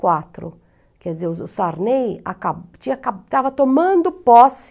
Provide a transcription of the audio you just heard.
quatro. Quer dizer, o Sarney acaba tinha acaba estava tomando posse